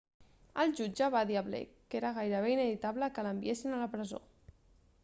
el jutge va dir a blake que era gairebé inevitable que l'enviessin a la presó